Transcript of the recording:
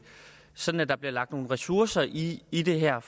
sådan at der bliver lagt nogle ressourcer i i det her